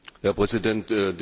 Herr Präsident!